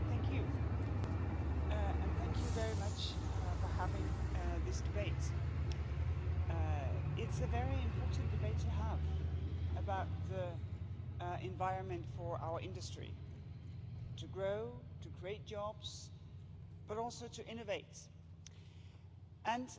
Mr President, thank you and thank you very much for having this debate. It's a very important debate to have about the environment for our industry, to grow, to create jobs, but also to innovate, and